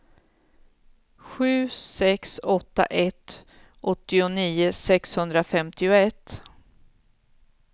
sju sex åtta ett åttionio sexhundrafemtioett